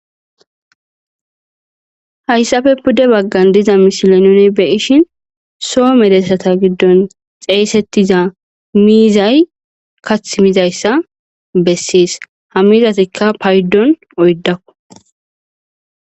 hayssafe pudde baggan diza mishile nune beyishin soo medessata giddon xeeysettiza miizay kath mizayssa bessiis ha mizatikka paydon oydakku